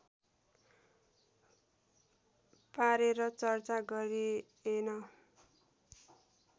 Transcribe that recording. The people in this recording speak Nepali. पारेर चर्चा गरिएन